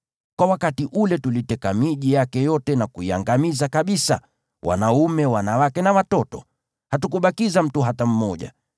Kwa wakati ule tuliteka miji yake yote na kuiangamiza kabisa: wanaume, wanawake na watoto. Hatukumwacha yeyote.